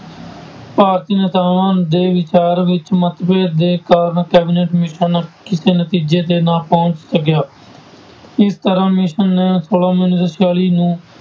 ਭਾਰਤੀ ਨੇਤਾਵਾਂ ਦੇ ਵਿਚਾਰ ਵਿੱਚ ਮਤਭੇਦ ਦੇ ਕਾਰਨ cabinet mission ਕਿਸੇ ਨਤੀਜੇ ਤੇ ਨਾ ਪਹੁੰਚ ਸਕਿਆ, ਇਸ ਤਰ੍ਹਾਂ mission ਨੇ ਉੱਨੀ ਸੌ ਛਿਆਲੀ ਨੂੰ